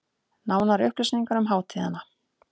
Nánari upplýsingar um hátíðina